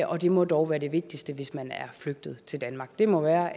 og det må dog være det vigtigste hvis man er flygtet til danmark det må være